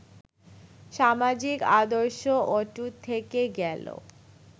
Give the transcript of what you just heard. সামাজিক আদর্শ অটুট থেকে গেল